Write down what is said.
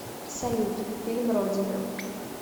салют фильм родина